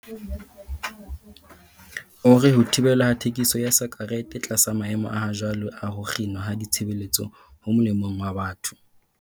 O re ho thibelwa ha thekiso ya sakerete tlasa maemo a hajwale a ho kginwa ha ditshebeletso ho molemong wa batho.